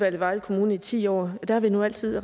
i vejle kommune i ti år og der har vi nu altid